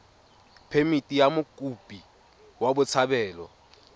phemithi ya mokopi wa botshabelo